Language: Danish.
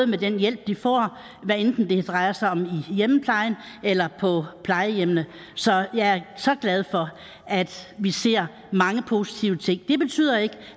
med den hjælp de får hvad enten det drejer sig om i hjemmeplejen eller på plejehjemmene så jeg er så glad for at vi ser mange positive ting det betyder ikke